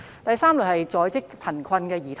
第三類是在職貧困兒童。